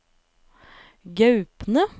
Gaupne